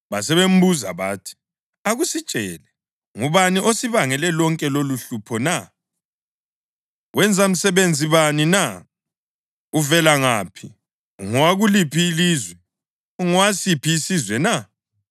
Basebembuza bathi, “Akusitshele, ngubani osibangele lonke lolu uhlupho na? Wenza msebenzi bani na? Uvela ngaphi? Ungowakuliphi ilizwe? Ungowasiphi isizwe na?”